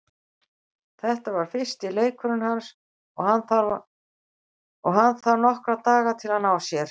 Þetta var fyrsti leikurinn hans og hann þarf nokkra daga til að ná sér.